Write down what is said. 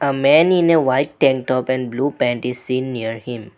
a man in a white ten top and blue pant is seen near him.